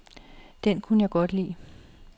Den kunne jeg godt lide.